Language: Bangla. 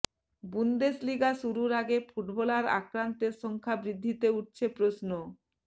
বুন্দেসলিগা শুরুর আগে ফুটবলার আক্রান্তের সংখ্যা বৃদ্ধিতে উঠছে প্রশ্ন